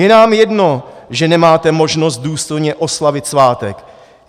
Je nám jedno, že nemáte možnost důstojně oslavit svátek.